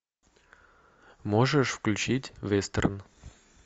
можешь включить вестерн